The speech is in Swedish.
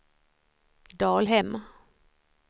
Dalhem